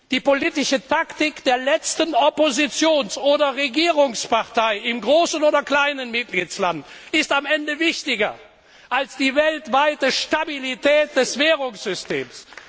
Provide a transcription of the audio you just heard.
Die politische Taktik der letzten Oppositions oder Regierungspartei, im großen oder kleinen Mitgliedstaat, ist am Ende wichtiger als die weltweite Stabilität des Währungssystems.